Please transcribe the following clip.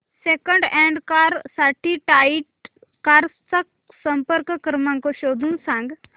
second hand car साठी Right Cars चा संपर्क क्रमांक शोधून सांग